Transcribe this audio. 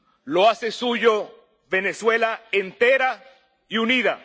La hace suya Venezuela entera y unida.